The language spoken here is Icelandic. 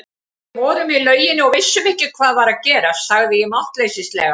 Við vorum í lauginni og vissum ekki hvað var að gerast, sagði ég máttleysislega.